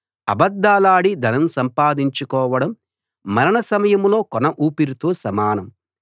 అబద్ధాలాడి ధనం సంపాదించుకోవడం మరణ సమయంలో కొన ఊపిరితో సమానం